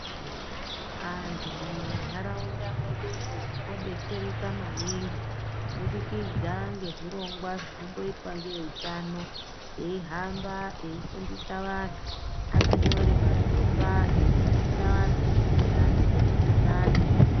Antu mumantaraunda mwedumwo tinobetsereka maningi, kubudikidza ngezvirongwa zvinomboitwa nevehutano. Eihamba eifundisa vantu akanyore mapepa eifundisa antu maererano ngemukuhlani.